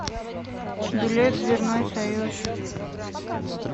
билет дверной союз